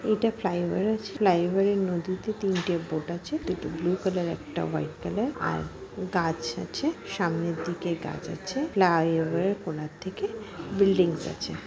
এটা ফ্লাইওভার আছে। ফ্লাইওভার এর নদীতে তিনটে বোট আছে দুটো ব্লু কালার একটা হোইট কালার আর গাছ আছে সামনের দিকে গাছ আছে ফ্লাইওভার কোনার দিকে বিল্ডিংস আছে।